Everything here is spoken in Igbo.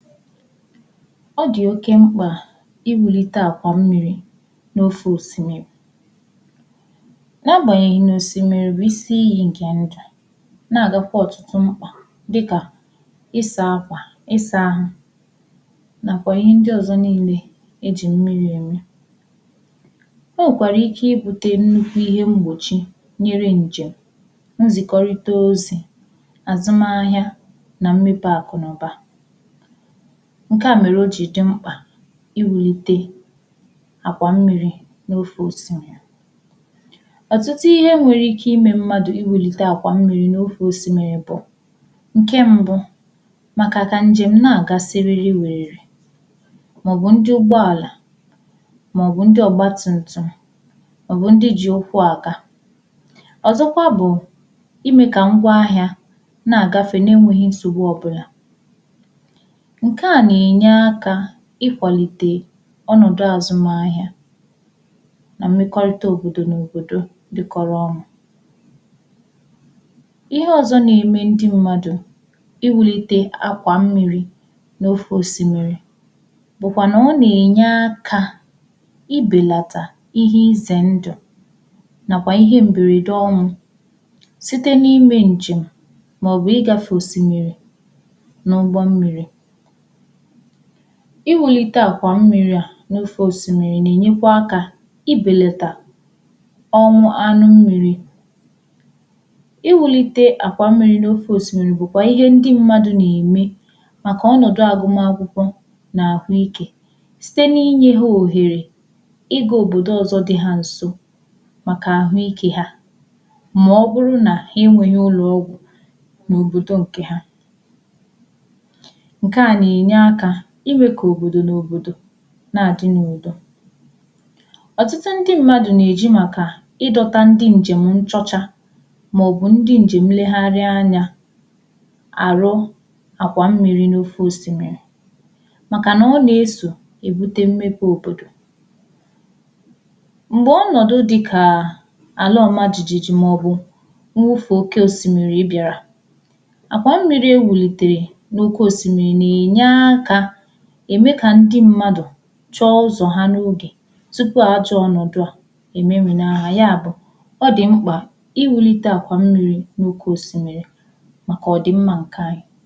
Ọ dị oke m̄kpà iwulite àkwà mmiri n’ofo osimmiri na-agbanyeghì na osimmiri bụ̀ isi iyi nke ndụ na-agakwà ọtụtụ m̄kpà dịkà ị saa akwà ị saa ahụ nakwà ihe ndị ọzọ̀ niine e ji mmiri eme o nwekwarà ike ibute nnukwù ihe m̄gbochi nyere njem nzikọrịtà ozì azụma ahịà na mmepe akụ na ụbà nke à mere o ji dị̀ m̄kpà iwulite àkwà mmiri n’ufo ose à ọtụtụ ihe nwere ike ime mmadụ̀ iwulite àkwà mmiri n’ufo osimmiri bụ̀ nke mbụ̀ makà ka njem na-aga sịrị wererè maọ̀bụ̀ ndị ụgbọ alà maọ̀bụ̀ ndị ọgbatumtum maọ̀bụ̀ ndị ji ụkwụ̀ agà ọzọkwà bụ̀ ime ka ngwa ahịà na-agafe na-enweghì nsogbù ọbụlà nke na-enye akà ịkwalite ọnọdụ̀ azụma ahịà na mmekọrịtà òbodò na òbodò dịkọrọ ọnụ̀ ihe ọzọ̀ na-eme ndị mmadụ̀ iwulite àkwà mmiri n’ufo osimmiri bụkwanà ọ na-enye akà ibelatà ihe ize ndụ̀ nakwà ihe mberede ọnwụ̀ sitē na-eme njem maọ̀bụ̀ ịgafe osimmiri n’ụgbọ̀ mmiri iwulite àkwà mmiri à n’ufo osimmiri na-enyekwà akà ibelatà ọnwà, anụ mmiri iwulite àkwà mmiri n’ufo osimmiri bụ̀ kwà ihe ndị̀ mmadụ̀ na-eme makà ọnọdụ̀ agụma akwụkwọ̀ na ahụike sitè na-enye ha ohere ị ga-òbodò ọzọ̀ dị ha nsò makà ahụike hà maọ̀bụ̀rụ̀ nà inweghì ụlọ ọgwụ̀ n’òbodò nke hà nke à na-enye akà ime ka òbodò na òbodò na-adị n’udo ọtụtụ ndị mmadụ̀ na-eji makà ịdọtà ndị njem nchọchà maọ̀bụ̀ ndị njem nlegharịà anya arụ̀ àkwà mmiri n’ufo osimmiri makà na ọ na-esò ebute mmepe òbodò m̄gbe ọnọdụ̀ dịkaa alà ọmajiji maọ̀bụ̀ nnwofù oke osimmiri bịarà àkwà mmiri wulitere n’oke osimmiri na-enye aakà eme ka ndị mmadụ̀ chọ ụzọ ha n’oge tupu ajọ̀ ọnọdụ̀ ememina ha, ya bụ̀ ọ dị m̄kpà iwulitè àkwà mmiri n’oke osimmiri makà ọdị mma nke anyị.